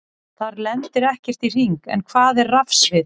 Þar lendir ekkert í hring, en hvað er rafsvið?